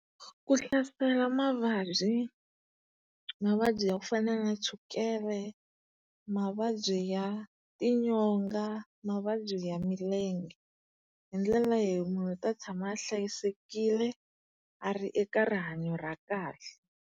Ku hlasela mavabyi mavabyi ya ku fans na chukele, mavabyi ya tinyonga, mavabyi ya milenge. Hi ndlela munhu u ta tshama a hlayisekile, a ri eka rihanyo ra kahle.